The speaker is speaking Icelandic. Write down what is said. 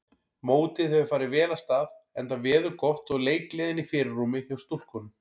Mótið hefur farið vel af stað enda veður gott og leikgleðin í fyrirrúmi hjá stúlkunum.